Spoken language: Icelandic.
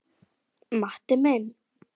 Matti minn.